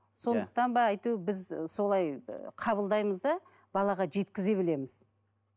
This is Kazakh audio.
иә сондықтан ба біз солай ы қабылдаймыз да балаға жеткізе білеміз